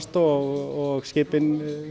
og skipin